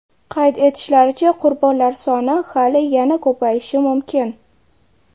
Qayd etishlaricha, qurbonlar soni hali yana ko‘payishi mumkin.